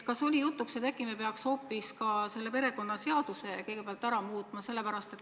Kas oli jutuks, et äkki me peaks kõigepealt muutma perekonnaseadust?